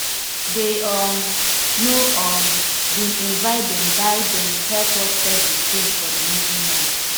they um no um bin invite them buy them help us set the screen for the movie night